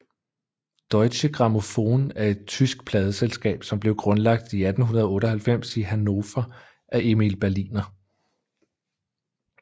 Deutsche Grammophon er et tysk pladeselskab som blev grundlagt i 1898 i Hannover af Emil Berliner